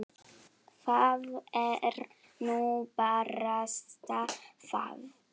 Það er nú barasta það.